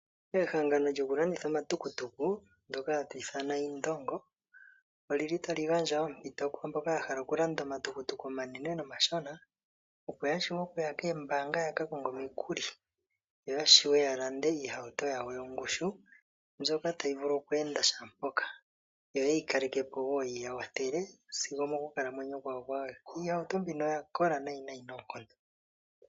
Ehangano lyoku landitha omatukutuku ndoka hali ithanwa Indongo olili tali gandja ompinto kwaamboka yahala okulanda omatukutuku opo yaye kombaanga ya kakonge omikuli opo yashiwe okupewa iihauto yawo yongushu mbyoka tayi vulu oku enda kehe mpoka yo yeyi kalekapo woo yi yakwathele sigo monkalamwenyo yawo yaaluhe.